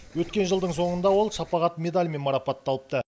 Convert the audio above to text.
өткен жылдың соңында ол шапағат медалімен марапатталыпты